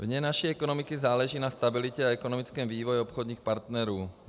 Vně naší ekonomiky záleží na stabilitě a ekonomickém vývoji obchodních partnerů.